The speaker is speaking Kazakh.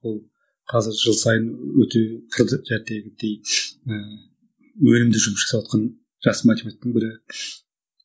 ол қазір жыл сайын өте і өнімді жұмыс жасап жатқан жас математиктің бірі